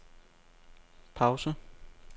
pause